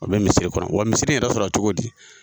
A bɛ misiri kɔnɔ wa misiri in yɛrɛ sɔrɔ la cogo di ?